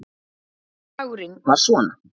Bragurinn var svona